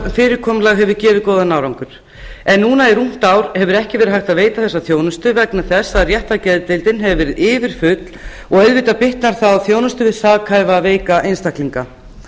fyrirkomulag hefur gefið góðan árangur en núna í rúmt ár hefur ekki verið hægt að veita þessa þjónustu vegna þess að réttargeðdeildin hefur verið yfirfull og auðvitað bitnar það á þjónustu við sakhæfa veika einstaklinga